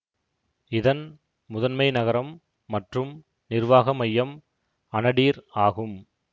இதன் முதன்மை நகரம் மற்றும் நிர்வாக மையம் அனடீர் ஆகும்